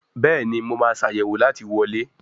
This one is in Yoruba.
Béèni mo ma Ṣàyẹ̀wò láti wọlé.